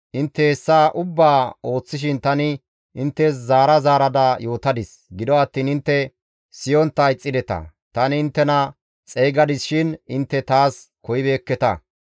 Intte hessa ubbaa ooththishin tani inttes zaara zaarada yootadis; gido attiin intte siyontta ixxideta; tani inttena xeygadis shin intte taas koyibeekketa.